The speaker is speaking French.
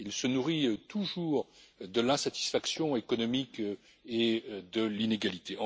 Il se nourrit toujours de l'insatisfaction économique et de l'inégalité.